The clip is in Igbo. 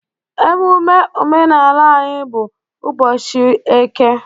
Emume omenala anyị bụ ụbọchị eke